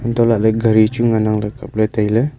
untoh lahley gari chu ngan ang le kap le tai ley.